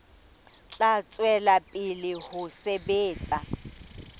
tla tswela pele ho sebetsa